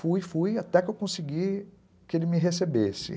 Fui, fui, até que eu consegui que ele me recebesse.